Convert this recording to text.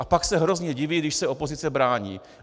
A pak se hrozně diví, když se opozice brání.